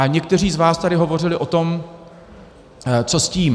A někteří z vás tady hovořili o tom, co s tím.